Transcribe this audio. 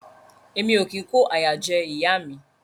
Emi o kin ko àyà jẹ ìyá mi.